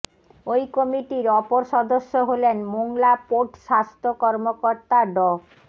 ওই কমিটির অপর সদস্য হলেন মোংলা পোর্ট স্বাস্থ্য কর্মকর্তা ড